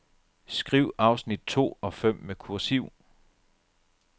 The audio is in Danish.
Skriv afsnit to og fem med kursiv.